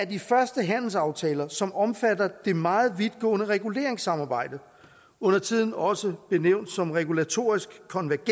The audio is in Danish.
de første handelsaftaler som omfatter det meget vidtgående reguleringssamarbejde undertiden også benævnt som regulatorisk konvergens